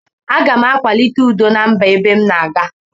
Agam akwalite udo na mba ebe mu na aga.